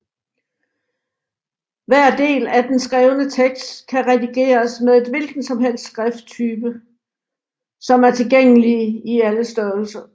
Hver del af den skrevne tekst kan redigeres med et hvilket som helst skrifttype som er tilgængelige i alle størrelser